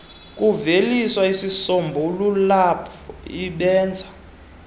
kuveliswa izisombululp ibenza